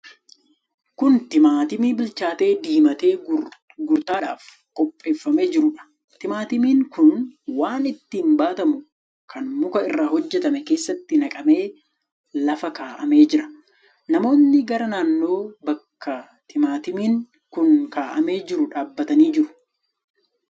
Kun timaatimii bilchaatee, diimatee gurgurtaadhaaf qopheeffamee jiruudha. Timaatimiin kun waan ittiin baatamu kan muka irraa hojjetame keessatti naqamee lafa kaa'ame jira. Namoonni garaa naannoo bakka timaatimiin kun kaa'amee jiruu dhaabbatanii jiru.